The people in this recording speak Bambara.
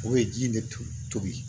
O ye ji de tobi